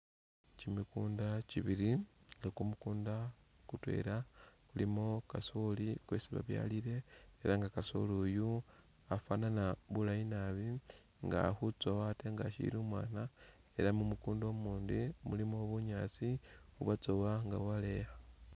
Kyimikunda kyibili nga kumukunda kutwela kulimo kasoli kwesi babyalile ela nga kasoli uyu afanana bulayi nabi nga akhutsowa atee nga ashili umwana ela mumukunda umundi mulimo bunyaasi ubwatsowa nga bwakeya.